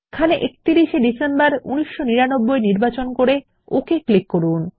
এখানে আমরা 31 শে ডিসেম্বর 1999 নির্বাচন করে ওকে ক্লিক করুন